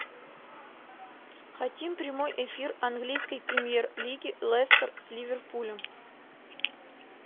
хотим прямой эфир английской премьер лиги лестер с ливерпулем